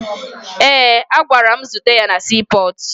Ee, agara m zute ya na siipọọtụ